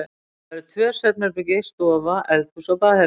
Það voru tvö svefnherbergi, stofa, eldhús og baðherbergi.